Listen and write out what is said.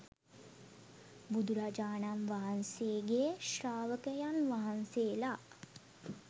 බුදුරජාණන් වහන්සේගේ ශ්‍රාවකයන් වහන්සේලා